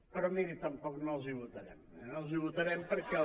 però miri tampoc no els hi votarem eh i no els hi votarem perquè